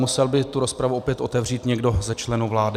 Musel by tu rozpravu opět otevřít někdo ze členů vlády.